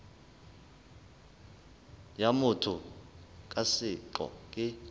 ya motho ka seqo e